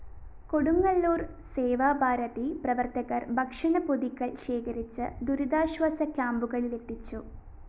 കൊടുങ്ങല്ലൂര്‍ സേവാഭാരതി പ്രവര്‍ത്തകര്‍ ഭക്ഷണ പൊതികള്‍ ശേഖരിച്ച് ദുരിതാശ്വാസ ക്യാമ്പുകളിലെത്തിച്ചു